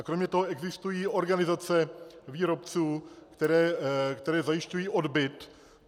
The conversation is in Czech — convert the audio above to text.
A kromě toho existují organizace výrobců, které zajišťují odbyt.